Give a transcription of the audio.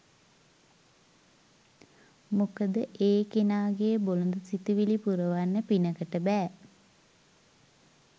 මොකද ඒ කෙනාගේ බොළඳ සිතුවිලි පුරවන්න පිනකට බෑ.